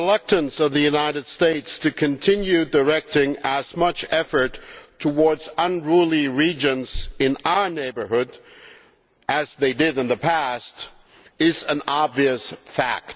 The reluctance of the United States to continue directing as much effort towards unruly regions in our neighbourhood as they did in the past is an obvious fact.